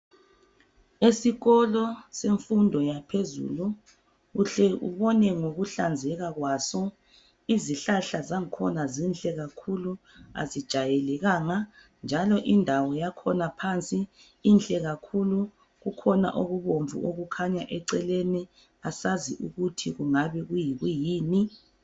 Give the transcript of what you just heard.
Esikolo semfundo yaphezulu uhle ubone ngokuhlazeka kwaso izihlahla zakhona zinhle kakhulu azijayelekanga njalo indawo yakhona phansi inhle kakhulu kukhona okubomvu okukhanya eceleni asazi ukuthi kungabe kuyikuyini.